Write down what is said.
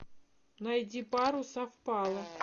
найди пару совпала